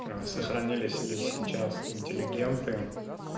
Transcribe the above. сохранились ли сейчас интеллигенты